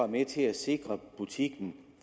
med til at sikre butikken